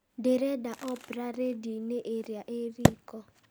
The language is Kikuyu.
ndĩrenda opra rĩndiũ-inĩ ĩria ĩ riko